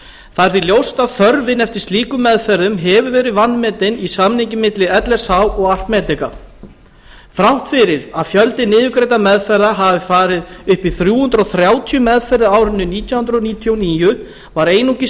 það er því ljóst að þörfin eftir slíkum meðferðum hefur vanmetin í samningi milli lsh og að medica þrátt fyrir að fjöldi niðurgreiddra meðferða hafi farið upp þrjú hundruð þrjátíu meðferðir á árinu nítján hundruð níutíu og níu var einungis